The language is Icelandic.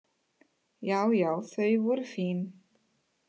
Já já þau voru fín.